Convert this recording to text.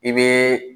I bɛ